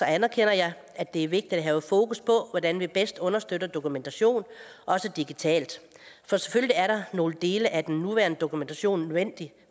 anerkender jeg at det er vigtigt at have fokus på hvordan vi bedst understøtter dokumentation også digitalt for selvfølgelig er nogle dele af den nuværende dokumentation nødvendig